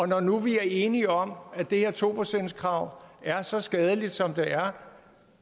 nu er enige om at det her to procentskrav er så skadeligt som det er